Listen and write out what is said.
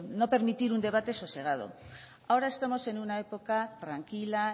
no permitir un debate sosegado ahora estamos en una época tranquila